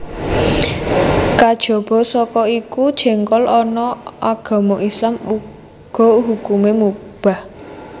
Kejaba saka iku jéngkol ana agama Islam uga hukumé mubah